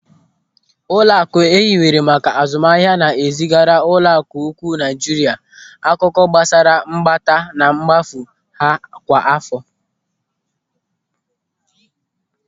Ụlọaku ehiwere maka azụmahịa na-ezigara Ụlọaku Ukwuu Naijiria akụkọ gbasara mkpata na mkpafu ha kwa àfọ.